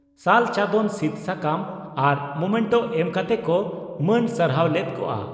ᱥᱟᱞ ᱪᱟᱫᱚᱱ ᱥᱤᱫᱽ ᱥᱟᱠᱟᱢ ᱟᱨ ᱢᱚᱢᱮᱱᱴᱚ ᱮᱢ ᱠᱟᱛᱮ ᱠᱚ ᱢᱟᱹᱱ ᱥᱟᱨᱦᱟᱣ ᱞᱮᱫ ᱠᱚᱜᱼᱟ ᱾